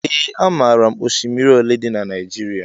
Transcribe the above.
Ee amaara m oshimiri olé dị n' Naijiria.